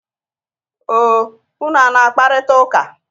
O, unu a na-akparịta ụka?